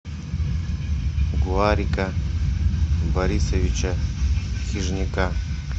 гоарика борисовича хижняка